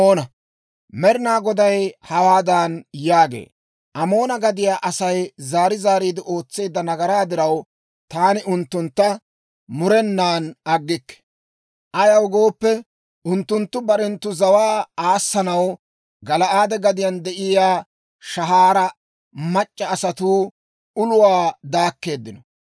Med'inaa Goday hawaadan yaagee; «Amoona gadiyaa Asay zaari zaariide ootseedda nagaraa diraw, taani unttuntta murenan aggikke. Ayaw gooppe, unttunttu barenttu zawaa aassanaw Gala'aade gadiyaan de'iyaa shahaara mac'c'a asatuu uluwaa daakkeeddino.